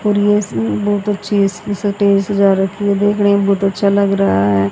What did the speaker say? और ये इसमें बहोत अच्छी है इसमें टेबल सजा रखी है देखने में बहुत अच्छा लग रहा है।